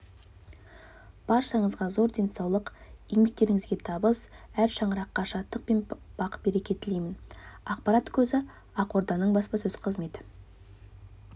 баршаңызға зор денсаулық еңбектеріңізге табыс әр шаңыраққа шаттық пен бақ-береке тілеймін ақпарат көзі ақорданың баспасөз қызметі